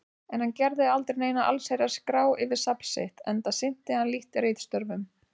En hann gerði aldrei neina allsherjar-skrá yfir safn sitt, enda sinnti hann lítt ritstörfum.